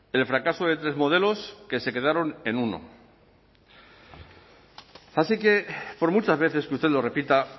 el fracaso de tres modelos que se quedaron en uno así que por muchas veces que usted lo repita